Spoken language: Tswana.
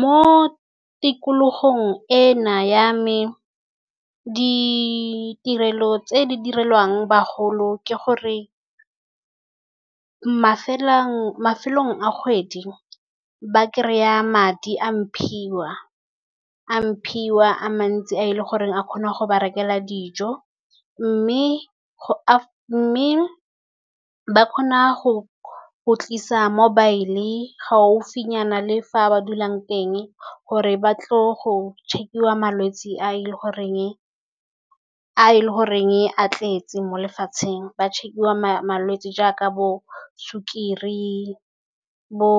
Mo tikologong ena ya me, ditirelo tse di direlwang bagolo ke gore, mafelo a kgwedi ba kry-a madi a mphiwa. A mphiwa a mantsi a e le goreng a kgona go ba rekela dij, mme go a mme ba kgona go go tlisa mobile gaufinyana le fa a ba dulang teng. Gore ba tlo go check-iwa malwetse a e leng gore a tletse mo lefatsheng. Ba check-iwa malwetse jaaka bo sukiri bo